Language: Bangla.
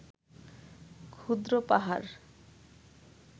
ক্ষুদ্র পাহাড়